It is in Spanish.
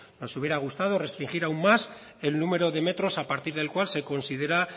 nos hubiera gustado restringir aún más el número de metros a partir del cual se considera